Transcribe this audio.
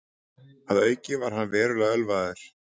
Að auki var hann verulega ölvaður